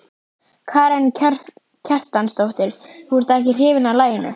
Karen Kjartansdóttir: Þú ert ekki hrifinn af laginu?